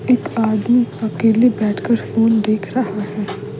एक आदमी अकेले बैठकर फोन देख रहा है।